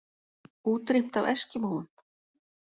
Útrýmt af eskimóum?